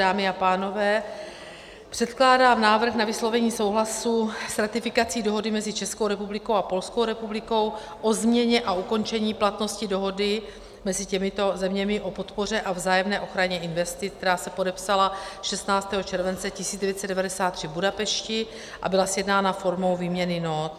Dámy a pánové, předkládám návrh na vyslovení souhlasu s ratifikací Dohody mezi Českou republikou a Polskou republikou o změně a ukončení platnosti Dohody mezi těmito zeměmi o podpoře a vzájemné ochraně investic, která se podepsala 16. července 1993 v Budapešti a byla sjednána formou výměny nót.